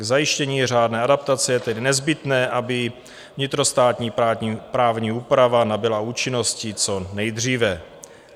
K zajištění řádné adaptace je tedy nezbytné, aby vnitrostátní právní úprava nabyla účinnosti co nejdříve.